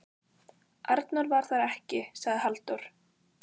Arnór var þar ekki, sagði Halldór.